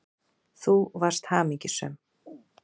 Þú varst hamingjusöm.